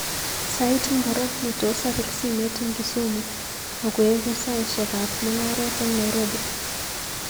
Sait ngiro netos apir simet eng Kisumu akoegu saishekab mungaret eng Nairobi